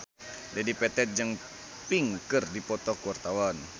Dedi Petet jeung Pink keur dipoto ku wartawan